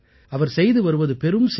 அவர் செய்து வருவது பெரும் சேவை